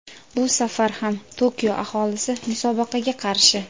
Bu safar ham Tokio aholisi musobaqaga qarshi.